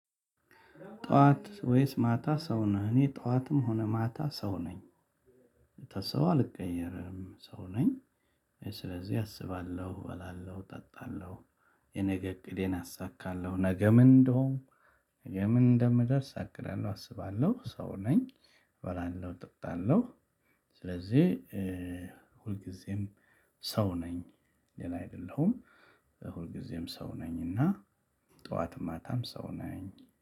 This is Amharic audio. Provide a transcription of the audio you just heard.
"ጠዋት ወይስ ማታ ሰው ነህ?" እኔ ጠዋትም ሆነ ማታ ሰው ነኝ። ስታስበው አልቀየርም ሰው ነኝ። ስለዚህ አስባለሁ በላለሁ፣ ጠጣለሁ፣ የነገ እቅዴን አሳካለሁ፣ ነገ ምን እንደሆንኩ ነገ ምን እንደምደርስ አቅዳለሁ አስባለሁ ሰው ነኝ እበላለሁ እጠጣለሁ። ስለዚህ ሁልጊዜም ሰው ነኝ ሌላ አይደለሁም። ሁልጊዜም ሰው ነኝ እና ጠዋትም ማታም ሰው ነኝ።